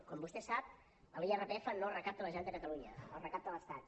com vostè sap l’irpf no el recapta la generalitat de catalunya el recapta l’estat